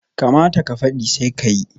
Kamata ka fadi, sai ka yi